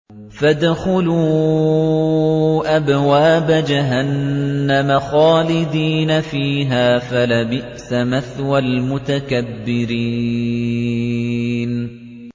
فَادْخُلُوا أَبْوَابَ جَهَنَّمَ خَالِدِينَ فِيهَا ۖ فَلَبِئْسَ مَثْوَى الْمُتَكَبِّرِينَ